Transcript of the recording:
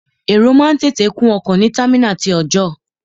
Èrò máa ń tètè kún ọkọ̀ ní támínàlí ti ọọ̀jọ́.